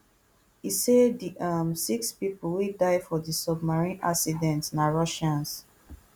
e say di um six pipo wey die for di submarine accident na russians